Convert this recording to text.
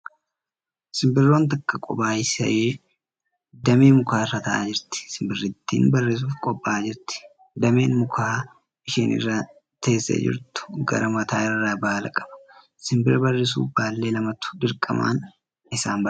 Simbirroon takka kophaa ishee damee mukaa irra taa'aa jirti. Simbirittiin barrisuuf qophaa'aa jirti. Dameen mukaa isheen irra teessee jirtu gara mataa irraa baala qaba. Simbirri barrisuuf baallee lamatu dirqamaan isaan barbaachisa.